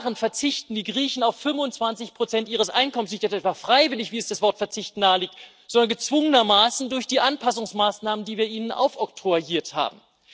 Seit Jahren verzichten die Griechen auf 25 ihres Einkommens nicht etwa freiwillig, wie es das Wort Verzicht nahelegt, sondern gezwungenermaßen durch die Anpassungsmaßnahmen, die wir ihnen aufoktroyiert haben.